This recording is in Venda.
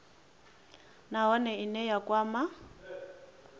nha nahone ine ya kwama